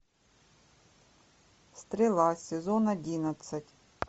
стрела сезон одиннадцать